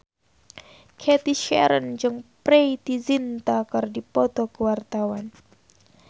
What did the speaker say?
Cathy Sharon jeung Preity Zinta keur dipoto ku wartawan